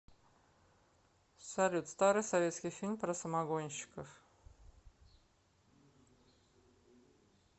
салют старый советский фильм про самогонщиков